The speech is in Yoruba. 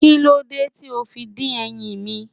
Kíló dé tí ó fi dín ẹyin mi?